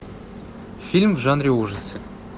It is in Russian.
фильм в жанре ужасы